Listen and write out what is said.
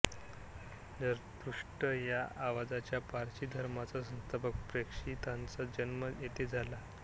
झरतुष्ट्र या आजच्या पारशी धर्माचा संस्थापक प्रेषिताचा जन्म येथे झाला